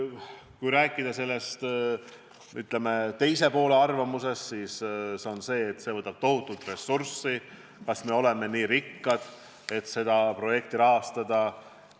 Kui rääkida teise poole arvamusest, siis on kuulda, et see projekt võtab tohutult ressurssi – kas me oleme nii rikkad, et seda rahastada?